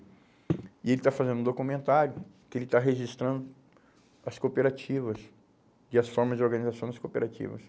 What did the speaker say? E ele está fazendo um documentário que ele está registrando as cooperativas e as formas de organização das cooperativas.